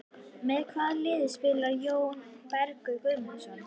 Með hvaða liði spilar Jóhann Berg Guðmundsson?